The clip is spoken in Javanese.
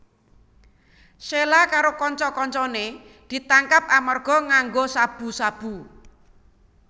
Sheila karo kanca kancané ditangkap amarga nganggo sabu sabu